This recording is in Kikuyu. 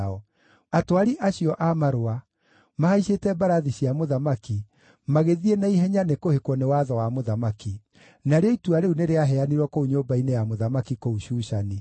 Atwari acio a marũa, mahaicĩte mbarathi cia mũthamaki, magĩthiĩ na ihenya nĩkũhĩkwo nĩ watho wa mũthamaki. Narĩo itua rĩu nĩrĩaheanirwo kũu nyũmba-inĩ ya mũthamaki kũu Shushani.